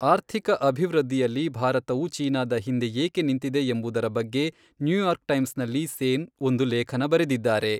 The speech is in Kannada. ಆರ್ಥಿಕ ಅಭಿವೃದ್ಧಿಯಲ್ಲಿ ಭಾರತವು ಚೀನಾದ ಹಿಂದೆ ಏಕೆ ನಿಂತಿದೆ ಎಂಬುದರ ಬಗ್ಗೆ ನ್ಯೂಯಾರ್ಕ್ ಟೈಮ್ಸ್ ನಲ್ಲಿ ಸೇನ್ ಒಂದು ಲೇಖನ ಬರೆದಿದ್ದಾರೆ.